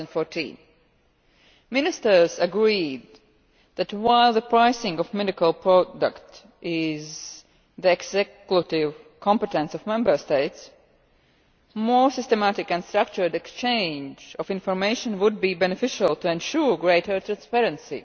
2014. Ministers agreed that, while the pricing of medicinal products is the exclusive competence of Member States, more systematic and structured exchange of information would be beneficial to ensure greater transparency.